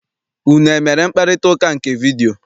Unu emere mkparịtaụka nke vidiyio?